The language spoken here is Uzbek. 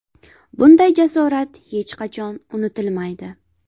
Bunday jasorat hech qachon unutilmaydi.